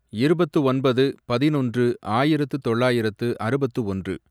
இருபத்து ஒன்பது, பதினொன்று, ஆயிரத்து தொள்ளாயிரத்து அறுபத்து ஒன்று